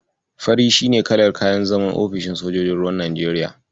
Fari shi ne kalar kayan zaman ofishinn sojojin ruwan Najeriya.